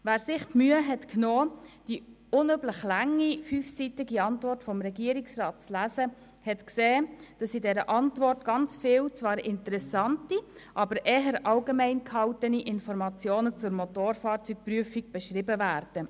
Wer sich die Mühe genommen hat, die unmöglich lange, fünfseitige Antwort des Regierungsrats zu lesen, konnte feststellen, dass in dieser Antwort sehr viele, zwar interessante, aber eher allgemein gehaltene Informationen zur Motorfahrzeugprüfung beschrieben werden.